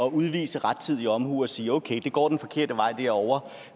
at udvise rettidig omhu og sige at okay det går den forkerte vej derovre